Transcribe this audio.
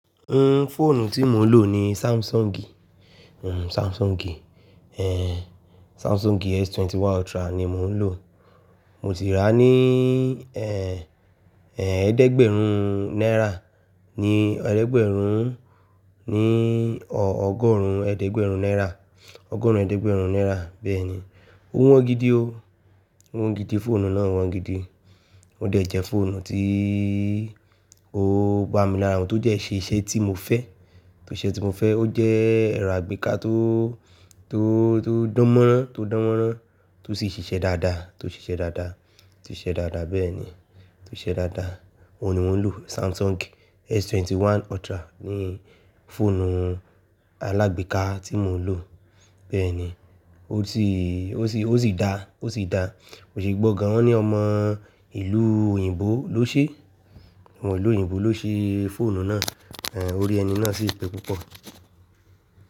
N, fóònù tí mo ń lò ni Samsung. N, Samsung, ẹh, Samsung S21 Ultra ni mo ń lò. Mo ti rà á ní, ẹh, ẹh, ẹ̀ẹ́dẹ́gbẹ̀rún náírà. Ni ẹ̀ẹ́dẹ́gbẹ̀rún ní ọgọ́rùn ẹ̀ẹ́dẹ́gbẹ̀rún náírà. Ọgọ́rùn ẹ̀ẹ́dẹ́gbẹ̀rún náírà, bẹ́ẹ̀ni. Ó wọ́n gidi o. Ó wọ́n gidi, fóònù náà wọ́n gidi. Ó dẹ̀ jẹ́ fóònù tí ó ba mi lára mu tó jẹ́ ṣe iṣẹ́ tí mo fẹ́, tó ṣe tí mo fẹ́. Ó jẹ́ ẹ̀rọ àgbéká tó, tó, tó dánmọ́rán, tó dánmọ́rán, tó sì ṣiṣẹ́ dáadáa, tó ṣiṣẹ́ dáadáa, tó ṣiṣẹ́ dáadáa, bẹ́ẹ̀ni. Tó ṣiṣẹ́ dáadáa. Ó ni mò ń lò. Samsung S21 Ultra ni fóònù alágbéká tí mo ń lò. Bẹ́ẹ̀ni. Ó ti, ó sì, ó sì dáa, ó sì dáa. Mo sì gbọ́ gan ní ọmọ ìlú òyìnbó ló ṣe, ọmọ ìlú òyìnbó ló ṣe fóònù náà. Ẹ̀n, orí ẹni náà sì pé púpọ̀.